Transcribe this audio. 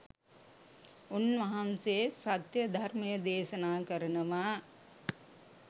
උන්වහන්සේ සත්‍ය ධර්මය දේශනා කරනවා